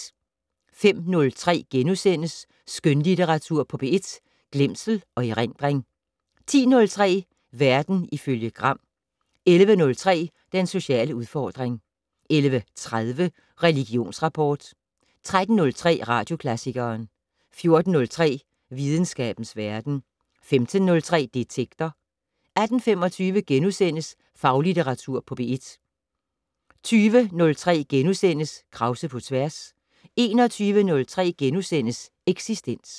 05:03: Skønlitteratur på P1 - Glemsel og erindring * 10:03: Verden ifølge Gram 11:03: Den sociale udfordring 11:30: Religionsrapport 13:03: Radioklassikeren 14:03: Videnskabens Verden 15:03: Detektor 18:25: Faglitteratur på P1 * 20:03: Krause på tværs * 21:03: Eksistens *